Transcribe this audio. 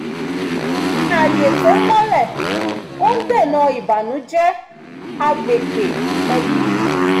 ṣíṣe ààyè tó mọ́lẹ̀ ń dènà ìbànújẹ́ agbègbè ẹbí